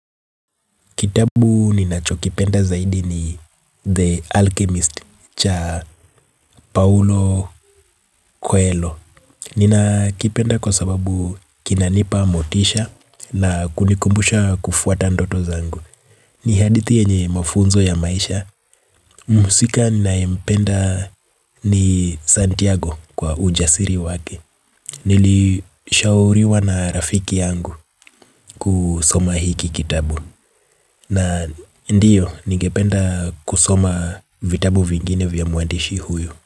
Kitabu ninachokipenda zaidi ni The Alchemist cha Paulo Coelho. Ninakipenda kwa sababu kinanipa motisha na kunikumbusha kufuata ndoto zangu. Ni hadithi yenye mafunzo ya maisha, mhusika ninayempenda ni Santiago kwa ujasiri wake. Nilishauriwa na rafiki yangu kusoma hiki kitabu. Na ndiyo, nigependa kusoma vitabu vingine vya mwandishi huyo.